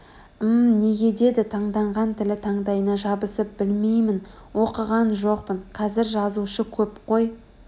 м-м неге деді таңданғаннан тілі таңдайына жабысып білмеймін оқыған жоқпын Қазір жазушы көп қой